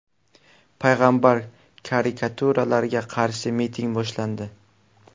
payg‘ambar karikaturalariga qarshi miting boshlandi.